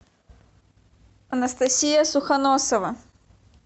анастасия сухоносова